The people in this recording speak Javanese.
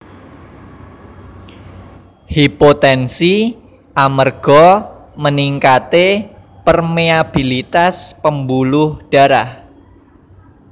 Hipotensi amerga meningkate permeabilitas pembuluh darah